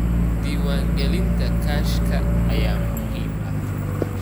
Diiwaangelinta kaashka ayaa muhiim ah.